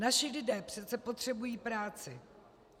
Naši lidé přece potřebují práci.